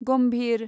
गम्भिर